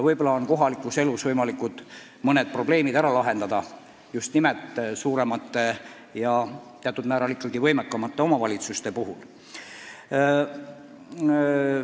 Võib-olla saab mõned kohaliku elu probleemid ära lahendada just nimelt suuremate ja teatud määral ka võimekamate omavalitsuste abil.